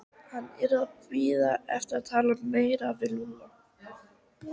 Hann yrði að bíða með að tala meira við Lúlla.